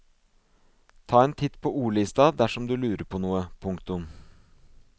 Ta en titt på ordlista dersom du lurer på noe. punktum